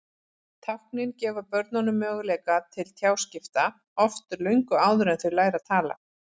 Táknin gefa börnunum möguleika til tjáskipta, oft löngu áður en þau læra að tala.